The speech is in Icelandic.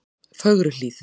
Fögruhlíð